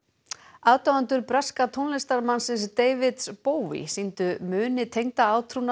aðdáendur breska tónlistarmannsins David sýndu muni tengda